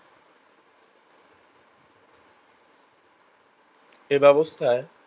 এ ব্যাবস্থায়